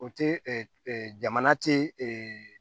O te jamana tee